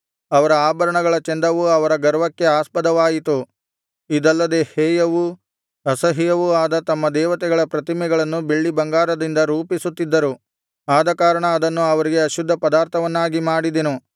ಅವರ ಆಭರಣಗಳ ಚಂದವು ಅವರ ಗರ್ವಕ್ಕೆ ಆಸ್ಪದವಾಯಿತು ಇದಲ್ಲದೆ ಹೇಯವೂ ಅಸಹ್ಯವೂ ಆದ ತಮ್ಮ ದೇವತೆಗಳ ಪ್ರತಿಮೆಗಳನ್ನು ಬೆಳ್ಳಿಬಂಗಾರದಿಂದ ರೂಪಿಸುತ್ತಿದ್ದರು ಆದಕಾರಣ ಅದನ್ನು ಅವರಿಗೆ ಅಶುದ್ಧ ಪದಾರ್ಥವನ್ನಾಗಿ ಮಾಡಿದೆನು